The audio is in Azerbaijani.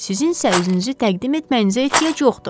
Sizin isə özünüzü təqdim etməyinizə ehtiyac yoxdur.